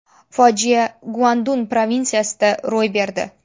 Fojia Guandun provinsiyasida ro‘y berdi.